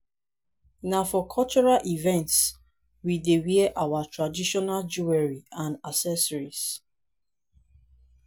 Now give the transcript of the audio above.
na for cultural events we dey wear our traditional jewelry and accessories.